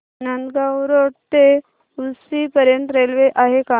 Nandgaon road ते उक्षी पर्यंत railway आहे का